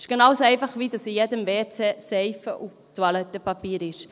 Es ist genau so einfach, wie dass es in jedem WC Seife und Toilettenpapier hat.